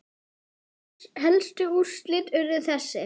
Helstu úrslit urðu þessi